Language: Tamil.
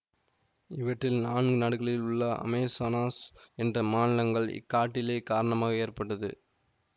இவற்றில் நான்கு நாடுகளில் உள்ள அமேசானாஸ் என்ற மாநிலங்கள் இக்காட்டிலே காரணமாகவே ஏற்பட்டது